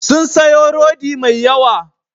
Sun sayo rodi mai yawa.